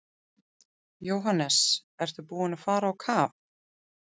Jóhannes: Ertu búinn að fara á kaf?